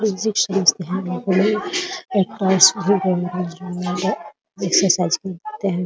Exercise करते हैं ।